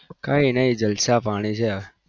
કઈ નહિ જલસા પાણી છે